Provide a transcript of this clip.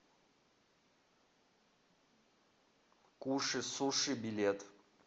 куши суши билет